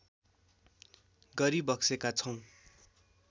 गरिबक्सेका छौँ